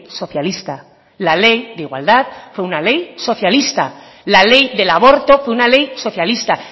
socialista la ley de igualdad fue una ley socialista la ley del aborto fue una ley socialista